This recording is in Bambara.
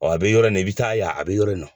Ɔ a bɛ yɔrɔ in nɔ, i bi taa yan a bɛ yɔrɔ in nɔ.